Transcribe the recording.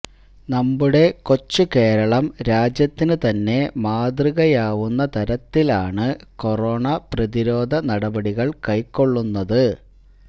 നമ്മുടെ കൊച്ചു കേരളം രാജ്യത്തിന് തന്നെ മാതൃകയാവുന്ന തരത്തിലാണ് കൊറോണ പ്രതിരോധ നടപടികള് കൈകൊള്ളുന്നത്